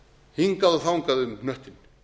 hingað og þangað um hnöttinn